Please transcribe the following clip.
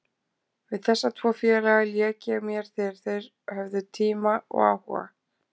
Við þessa tvo félaga lék ég mér þegar þeir höfðu tíma og áhuga.